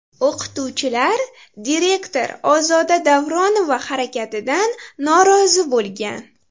O‘qituvchilar direktor Ozoda Davronova harakatidan norozi bo‘lgan.